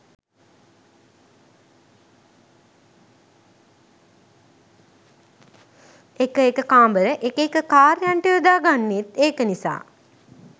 එක එක කාමර එක එක කාර්යයන්ට යොදා ගන්නෙත් ඒක නිසා